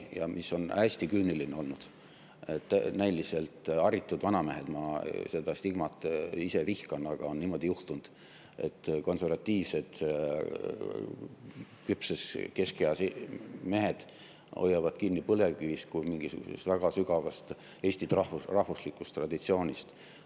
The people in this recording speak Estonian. Ja mis on hästi küüniline olnud: näiliselt haritud vanamehed – ma seda stigmat ise vihkan, aga on niimoodi juhtunud –, konservatiivsed, küpses keskeas mehed hoiavad kinni põlevkivist kui mingisugusest väga sügavast Eesti rahvuslikust traditsioonist.